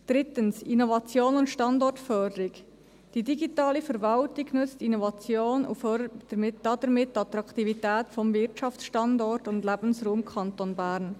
Drittens, Innovation und Standortförderung: Die digitale Verwaltung nutzt Innovationen und fördert damit die Attraktivität des Wirtschaftsstandorts und des Lebensraums Kanton Bern.